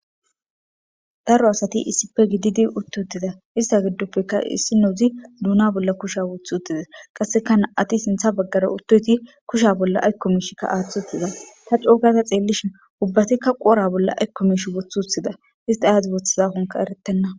daro asati issipe gididi uttutida ista giddoppekka issinozi duuna bolla kusha woth uttida qassekana7ati sintha baggara uttoti kusha bolla aykkomishikka aaththi uttiza ta coo gada xeellishin ubbatikka qoora bolla aykko mish woth uthida ista aadzi woththazakonka eretenna.